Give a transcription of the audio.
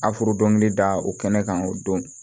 Afrodɔni da o kɛnɛ kan o don